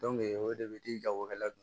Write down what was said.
o de bɛ di jagokɛla don